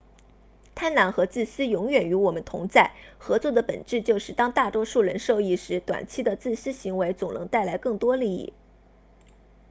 贪婪和自私永远与我们同在合作的本质就是当大多数人受益时短期的自私行为总能带来更多利益